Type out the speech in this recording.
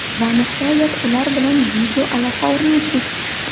Va nihoyat ular bilan video aloqa o‘rnatdik”.